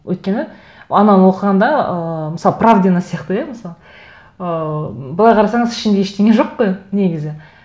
өйткені ананы оқығанда ыыы мысалы правдина сияқты иә мысалы ыыы былай қарасаңыз ішінде ештеңе жоқ қой негізі